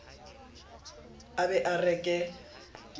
a ba a re ke